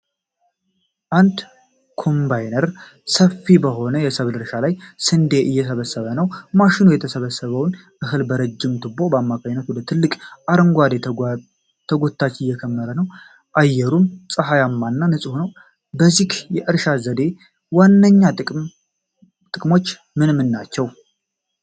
አንድ ኮምባይነር ሰፊ በሆነ የሰብል እርሻ ላይ ስንዴ እየሰበሰበ ነው። ማሽኑ የተሰበሰበውን እህል በረጅም ቱቦ አማካኝነት ወደ ትልቅ አረንጓዴ ተጎታች እየከመረ ነው። አየሩም ፀሐያማና ንፁህ ነው። የዚህ የእርሻ ዘዴ ዋነኛ ጥቅሞች ምን ምን ናቸው?